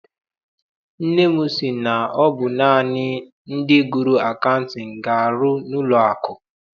Nne m sị na ọ bụ naanị ndị gụrụ akaụtin ga arụ n'ụlọ akụ.